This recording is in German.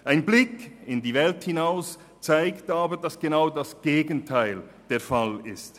Ein Blick in die Welt hinaus zeigt aber, dass genau das Gegenteil der Fall ist.